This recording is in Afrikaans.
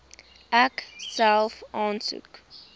ek self aansoek